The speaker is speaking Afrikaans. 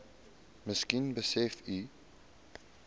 miskien besef u